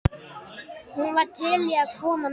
Hún var til í að koma með.